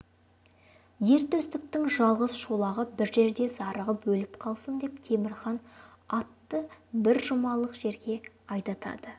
ер төстіктің жалғыз шолағы бір жерде зарығып өліп қалсын деп темір хан атты бір жұмалық жерге айдатады